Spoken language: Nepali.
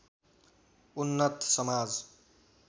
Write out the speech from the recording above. उन्नत समाज